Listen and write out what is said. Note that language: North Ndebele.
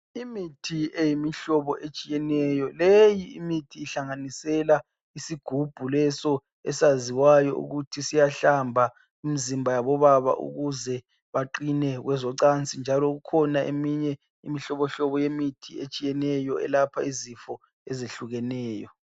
Imithi eyimihlobo etshiyeneyo. Leyi imithi ihlanganisela isigubhu leso esaziwayo ukuthi siyahlamba imizimba yabo baba ukuze baqine kwezocansi njalo ikhona eminye imihlobo yemithi etshiyeneyo elapha izifo ezehlukeneyo.